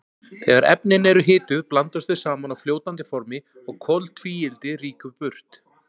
Þegar efnin eru hituð blandast þau saman á fljótandi formi og koltvíildi rýkur burt.